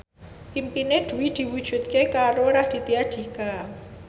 impine Dwi diwujudke karo Raditya Dika